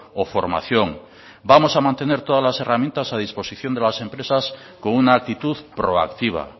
o formación vamos a mantener todas las herramientas a disposición de las empresas con una actitud proactiva